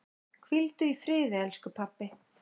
Hvíldu í friði elsku pabbi.